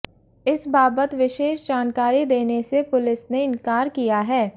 इस बाबत विशेष जानकारी देने से पुलिस ने इंकार किया है